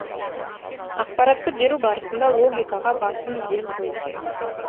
ақпаратты беру барысында логикаға басым ден қою керек